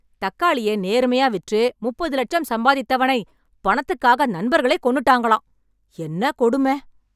தக்காளிய நேர்மையா விற்று, முப்பது லட்சம் சம்பாதித்தவனை, பணத்துக்காக நண்பர்களே கொன்னுட்டாங்களாம்... என்ன கொடும..